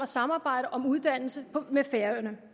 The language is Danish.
samarbejde om uddannelse med færøerne